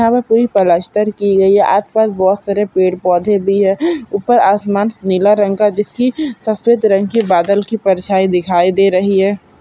यहा पे पूरी प्लास्टर की गयी है आस-पास बहुत सारे पेड़-पौधे भी है ऊपर आसमान नीला रंग का जिसकी सफ़ेद रंग की बादल की परछाई दिखाई दे रही है।